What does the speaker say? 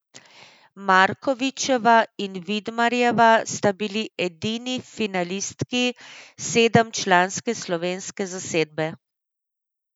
Markovičeva in Vidmarjeva sta bili edini finalistki sedemčlanske slovenske zasedbe.